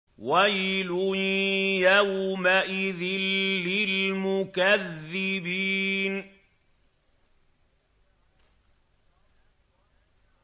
وَيْلٌ يَوْمَئِذٍ لِّلْمُكَذِّبِينَ